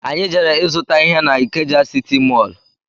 Anyị jere izuta ihe na Ikeja sịtị mọlụ